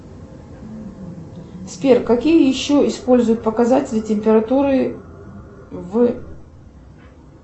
сбер какие еще используют показатели температуры в